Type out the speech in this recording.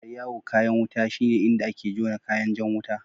Yar'yawu kayan wuta shine inda ake jona kayan jan wuta.